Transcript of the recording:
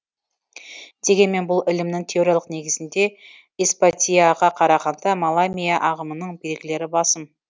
дегенмен бұл ілімнің теориялық негізінде исбатийаға қарағанда маламийа ағымының белгілері басым